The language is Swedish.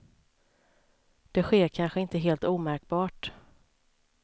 Det sker kanske inte helt omärkbart.